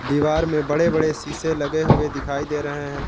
दीवार में बड़े बड़े शीशे लगे हुए दिखाई दे रहे हैं।